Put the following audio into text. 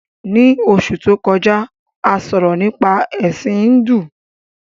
Ní Osù to kọjá, a sọ̀rọ̀ nípa Ẹ̀sin Híndù